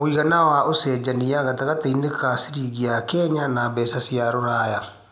Mũigana wa ũcenjanĩa gatagatiinĩ ga ciringi ya Kenya na mbeca cia rũraya